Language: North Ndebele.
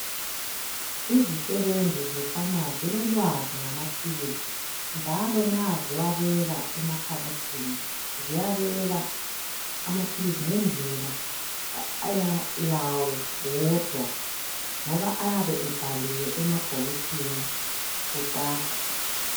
Izisebenzi ze"pharmacy" zilolwazi ngamaphilisi njalo nxa ziwabeka emakhabothini. Ziyabeka amaphilisi ngendlela eyayo wodwa ngoba ayabe ebhaliwe emabhokisini kucaca.